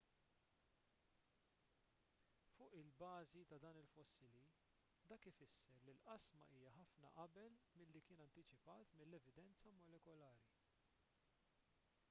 fuq il-bażi ta' dan il-fossili dak ifisser li l-qasma hija ħafna qabel milli kien antiċipat mill-evidenza molekulari